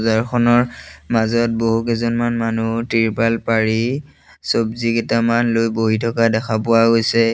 বজাখনৰ মাজত বহুকিজনমান মানুহ টিৰপাল পাৰি চব্জিকিটামান লৈ বহি থকা দেখা পোৱা গৈছে।